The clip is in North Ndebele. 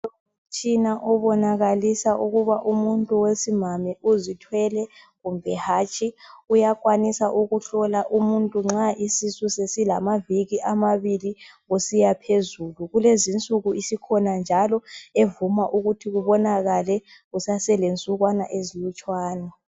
Umtshina obonakalisa ukuba umuntu wesimame uzithwele kumbe hatshi. Uyakwanisa ukuhlola umuntu nxa isisu sesilamaviki amabili kusiya phezulu. Kulezi insuku isikhona njalo evuma ukuthi kubonakale kusaselensuku ezilutshwana.